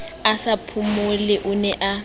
a sa phomole o ne